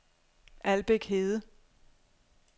Albæk Hede